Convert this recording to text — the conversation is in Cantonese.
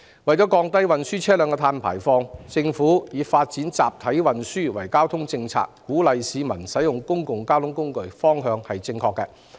為降低運輸車輛的碳排放，政府以發展集體運輸作為交通政策的重點，鼓勵市民盡量使用公共交通工具，這個方向是正確的。